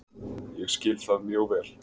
Ég skil það mjög vel.